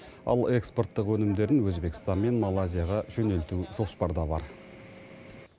ал экспорттық өнімдерін өзбекстан мен малайзияға жөнелту жоспарда бар